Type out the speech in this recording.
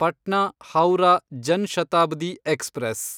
Patna Howrah Jan Shatabdi express